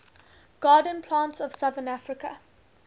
garden plants of southern africa